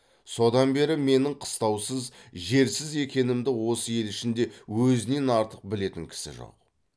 содан бері менің қыстаусыз жерсіз екенімді осы ел ішінде өзінен артық білетін кісі жоқ